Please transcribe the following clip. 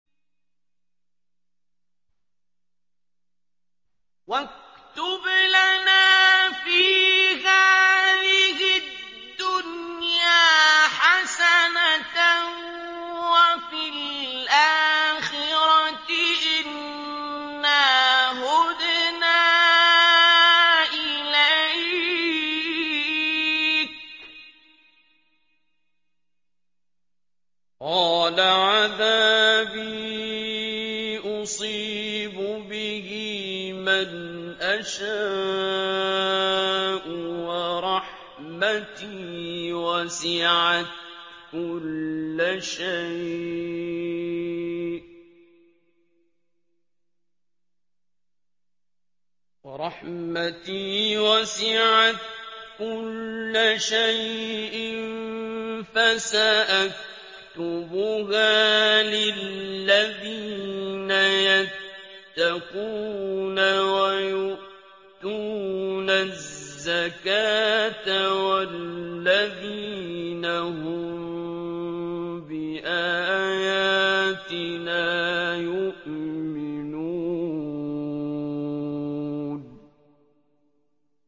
۞ وَاكْتُبْ لَنَا فِي هَٰذِهِ الدُّنْيَا حَسَنَةً وَفِي الْآخِرَةِ إِنَّا هُدْنَا إِلَيْكَ ۚ قَالَ عَذَابِي أُصِيبُ بِهِ مَنْ أَشَاءُ ۖ وَرَحْمَتِي وَسِعَتْ كُلَّ شَيْءٍ ۚ فَسَأَكْتُبُهَا لِلَّذِينَ يَتَّقُونَ وَيُؤْتُونَ الزَّكَاةَ وَالَّذِينَ هُم بِآيَاتِنَا يُؤْمِنُونَ